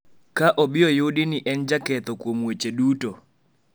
Ka obi oyudi ni en jaketho kuom weche duto,